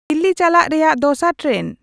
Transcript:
ᱫᱤᱞᱞᱤ ᱪᱟᱞᱟᱜ ᱝᱨᱮᱭᱟᱜ ᱫᱚᱥᱟᱨ ᱴᱨᱮᱱ